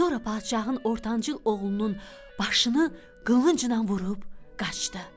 Sonra padşahın ortancıl oğlunun başını qılıncla vurub qaçdı.